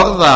orða